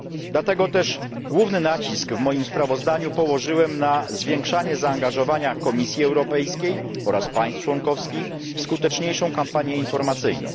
Dlatego też główny nacisk w moim sprawozdaniu położyłem na zwiększanie zaangażowania Komisji Europejskiej oraz państw członkowskich w skuteczniejszą kampanię informacyjną.